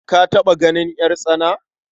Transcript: Ka taɓa ganin ƴartsana?